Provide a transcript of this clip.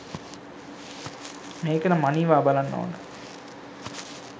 මේකනම් අනිවා බලන්න ඕන